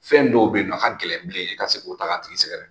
Fɛn dɔw yen nɔn, a ka gɛlɛn bilen, i ka se k'o ta ka tigi sɛgɛrɛ